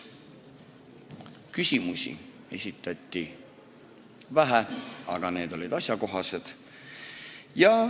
Küsimusi esitati vähe, aga need olid asjakohased.